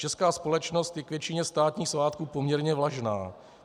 Česká společnost je k většině státních svátků poměrně vlažná.